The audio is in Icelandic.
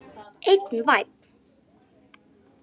Einn vænn!